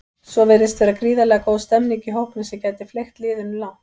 Svo virðist vera gríðarlega góð stemmning í hópnum sem gæti fleygt liðinu langt.